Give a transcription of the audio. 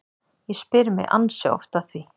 Ég spyr mig ansi oft að því